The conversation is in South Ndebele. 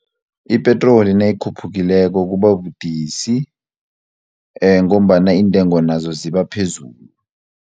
Ipetroli nayikhuphukileko kubabudisi ngombana iintengo nazo ziba phezulu.